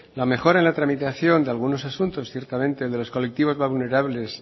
la mejora en la tramitación de algunos asuntos ciertamente el de los colectivos más vulnerables